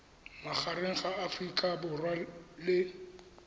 magareng ga aforika borwa le